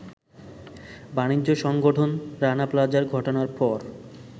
বাণিজ্য সংগঠন রানা প্লাজা ঘটনার পর